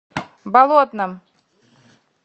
болотном